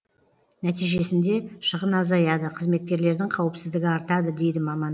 нәтижесінде шығын азаяды қызметкерлердің қауіпсіздігі артады дейді маман